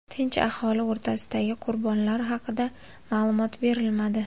Tinch aholi o‘rtasidagi qurbonlar haqida ma’lumot berilmadi.